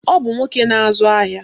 Ọ bụ nwoke na-azụ ahịa